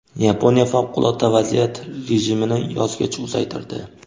Yaponiya favqulodda vaziyat rejimini yozgacha uzaytirdi.